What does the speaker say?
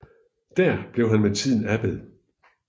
Der blev han med tiden abbed